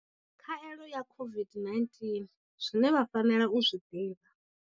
Khaelo ya COVID-19 zwine vha fanela u zwi ḓivha.